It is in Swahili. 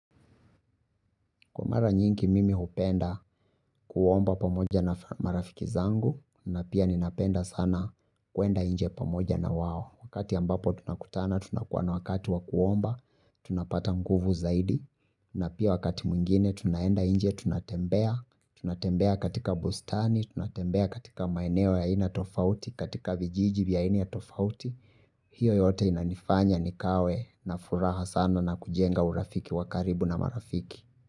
Kwa mara nyingi mimi hupenda kuomba pamoja na marafiki zangu na pia ninapenda sana kwenda nje pamoja na wao wakati ambapo tunakutana tunakuwa na wakati wakuomba tunapata nguvu zaidi na pia wakati mwingine tunaenda inje tunatembea tunatembea katika bustani. Tunatembea katika maeneo ya aina tofauti katika vijiji vya aina tofauti hiyo yote inanifanya nikawe na furaha sana na kujenga urafiki wakaribu na marafiki.